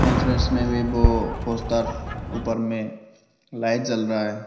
Poster ऊपर में light जल रहा है।